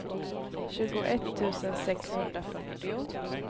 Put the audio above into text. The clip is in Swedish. tjugoett tusen sexhundrafyrtio